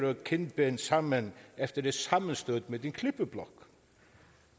og kindben sammen efter et sammenstød med en klippeblok